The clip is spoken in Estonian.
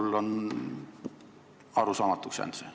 Mulle on see arusaamatuks jäänud.